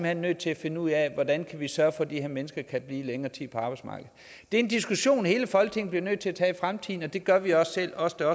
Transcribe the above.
hen nødt til at finde ud af hvordan vi kan sørge for at de her mennesker kan blive længere tid på arbejdsmarkedet det er en diskussion hele folketinget bliver nødt til at tage i fremtiden det gør vi også selv os der